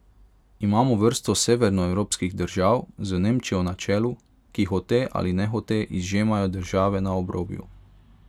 Imamo vrsto severnoevropskih držav z Nemčijo na čelu, ki hote ali nehote izžemajo države na obrobju.